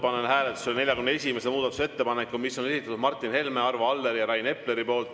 Panen hääletusele 41. muudatusettepaneku, mille on esitanud Martin Helme, Arvo Aller ja Rain Epler.